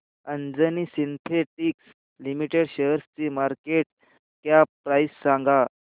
Anjani Synthetics Limited शेअरची market cap price सांगा